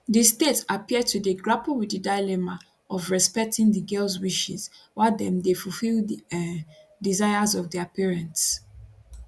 di state appear to dey grapple wit di dilemma of respecting di girls wishes while dem dey fulfil di um desires of dia parents